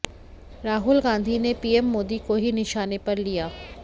राहुल गांधी ने पीएम मोदी को ही निशाने पर लिया